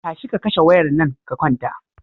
Tashi ka kashe wayar nan ka kwanta.